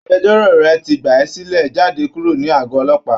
Agbẹjọ́rò rẹ̀ ti gbà á sílẹ̀ jáde kúrò ní àgọ́ ọlọ́pàá